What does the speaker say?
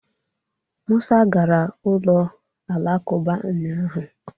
Musa gara ụlọ alakụba ụnyahụ